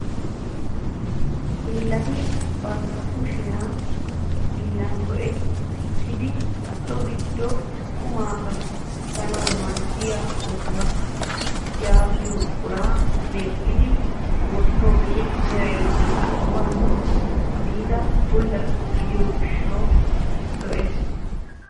Hiillati bantta kushiyaa hiillan go"ettidi so giddon qumaa kattanwu maaddiyaa otuwaa yaagiyoo buquraa medhdhidi wottidogee meray zo'uwaawu biida bulla gidiyoo gishshawu lo"ees.